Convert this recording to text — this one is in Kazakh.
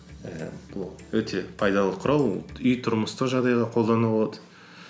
ііі бұл өте пайдалы құрал үй тұрмыстық жағдайда қолданылады